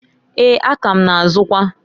Eeǃ A ka ma na -azụkwa.